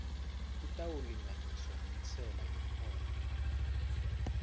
itawulinganiswa nentsela yemholo